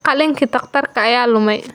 Qalinkii dhakhtarka ayaa lumay.